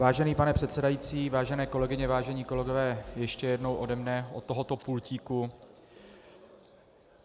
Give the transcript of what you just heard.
Vážený pane předsedající, vážené kolegyně, vážení kolegové, ještě jednou ode mne od tohoto pultíku.